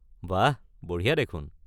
বাঃ! বঢ়িয়া দেখোন!